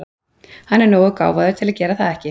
Hann er nógu gáfaður til að gera það ekki.